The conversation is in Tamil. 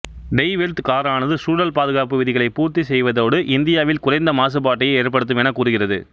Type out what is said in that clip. டெய் வெல்ட்த் காரானது சூழல் பாதுகாப்பு விதிகளை பூர்த்தி செய்வதோடு இந்தியாவில் குறைந்த மாசுபாட்டையே ஏற்படுத்தும் எனக் கூறுகிறது